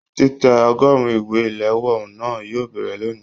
Titẹ ọgọrùn ìwé iléwọ́ náà yóò bẹrẹ lóni.